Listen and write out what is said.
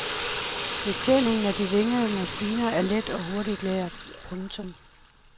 Betjeningen af de vingede maskiner er let og hurtigt lært. punktum